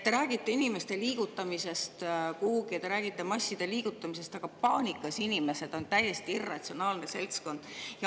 Te räägite inimeste liigutamisest kuhugi ja te räägite masside liigutamisest, aga paanikas inimesed on täiesti irratsionaalne seltskond.